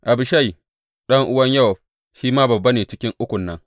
Abishai ɗan’uwan Yowab shi ma babba ne cikin Ukun nan.